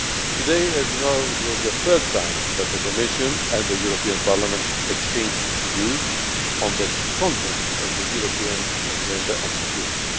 Today, as you know, was the third time that the Commission and the European Parliament have exchanged views on the content of the European Agenda on Security.